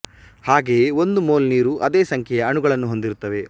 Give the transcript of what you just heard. ಹಾಗೆಯೇ ಒಂದು ಮೋಲ್ ನೀರು ಅದೇ ಸಂಖ್ಯೆಯ ಅಣುಗಳನ್ನು ಹೊಂದಿರುತ್ತವೆ